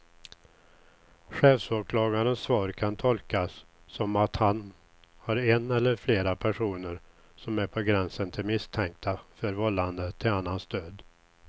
Chefsåklagarens svar kan tolkas som att han har en eller flera personer som är på gränsen till misstänkta för vållande till annans död.